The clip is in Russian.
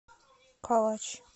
калач